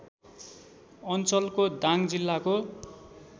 अञ्चलको दाङ जिल्लाको